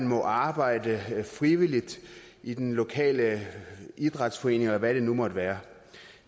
må arbejde frivilligt i den lokale idrætsforening eller hvad det nu måtte være